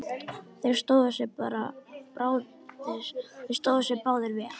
Þeir stóðu sig báðir vel.